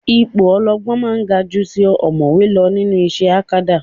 Ipò ọ̀jọ̀gbọ́n máa ń ga ju ti ọ̀mọ̀wé lọ nínú iṣẹ́ akadá